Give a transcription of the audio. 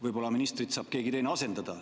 Võib-olla ministrit saab keegi teine asendada.